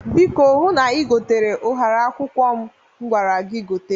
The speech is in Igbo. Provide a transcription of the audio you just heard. Biko hụ na ïgotere ụhara akwụkwọ m gwara gi gote.